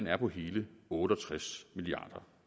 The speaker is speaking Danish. er på hele otte og tres milliard